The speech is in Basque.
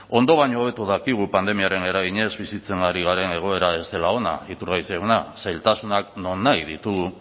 ondo baino hobeto dakigu pandemiaren eraginez bizitza ari garela egoera ez dela ona iturgaiz jauna zailtasunak nonahi ditugu